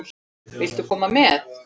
Viltu koma með?